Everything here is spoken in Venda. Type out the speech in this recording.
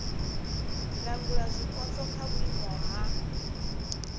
langula zwipotso kha vhuimo ha